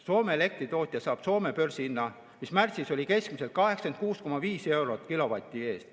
Soome elektritootja saab Soome börsihinna, mis märtsis oli keskmiselt 86,5 eurot kilovati eest.